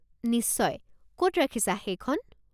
নিশ্চয়, ক'ত ৰাখিছা সেইখন?